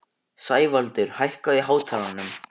Sævaldur, hækkaðu í hátalaranum.